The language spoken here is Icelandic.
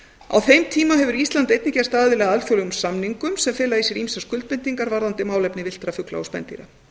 á þeim tíma hefur ísland einnig gerst aðili að alþjóðlegum samningum sem fela í sér ýmsar skuldbindingar varðandi málefni villtra fugla og spendýra